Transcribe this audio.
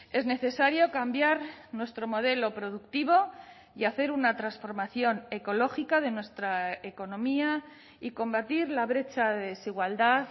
es necesario cambiar nuestro modelo productivo y hacer una transformación ecológica de nuestra economía y combatir la brecha de desigualdad